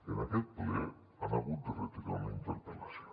en aquest ple han hagut de retirar una interpel·lació